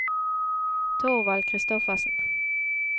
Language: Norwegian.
Thorvald Christoffersen